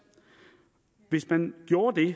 hvis man gjorde det